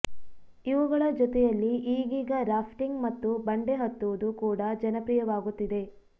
ಇವುಗಳ ಜೊತೆಯಲ್ಲಿ ಈಗೀಗ ರಾಫ್ಟಿಂಗ್ ಮತ್ತು ಬಂಡೆ ಹತ್ತುವುದು ಕೂಡ ಜನಪ್ರಿಯವಾಗುತ್ತಿದೆ